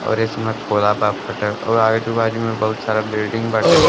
और ए समय खोला बा फट और आयजु -बाजू में बहुत सारा बिलिडिंग बाटे।